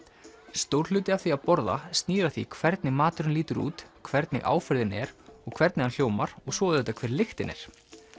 stór hluti af því að borða snýr að því hvernig maturinn lítur út hvernig áferðin er hvernig hann hljómar og svo auðvitað hver lyktin er